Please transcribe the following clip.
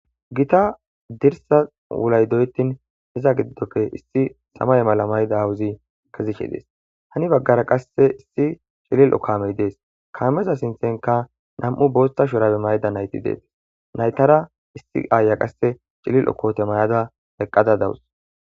Gita dirsa wulayi doyetin iza gido gelidinne samaye mala mayida aawozi kezishe Desi, hani bagara qase cililo kaamey de'esi, kaameza sinthanka nam'u bootha shurabe mayida nayti detesi, naytara qase issi ayiya cililo koote mayada dawusi.